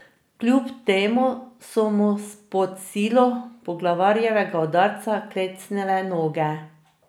Kljub temu so mu pod silo poglavarjevega udarca klecnile noge.